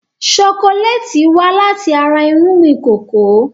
Ṣokoléètì wá láti ara irúgbìn kòkó.